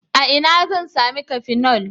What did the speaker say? A ina zan sami cafenol?